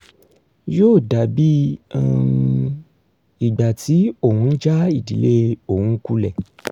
yóò dàbí um ìgbà tí òun já ìdílé òun kulẹ̀